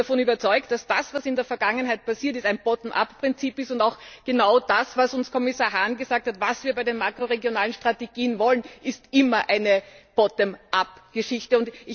Ich bin davon überzeugt, dass das, was in der Vergangenheit passiert ist, ein Bottom up Prinzip ist, und auch genau das, was uns Kommissar Hahn gesagt hat, was wir bei den makroregionalen Strategien wollen, ist immer eine Bottom up Geschichte.